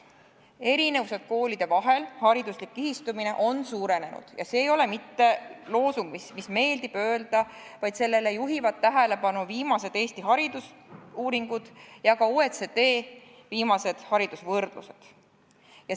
Erinevused koolide vahel, hariduslik kihistumine on suurenenud ja see ei ole mitte loosung, mida meeldib öelda, vaid sellele juhivad tähelepanu viimased Eesti haridusuuringud ja ka OECD viimased haridusvõrdlused.